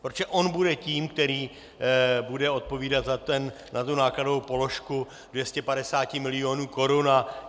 Protože on bude tím, který bude odpovídat za tu nákladovou položku 250 milionů korun.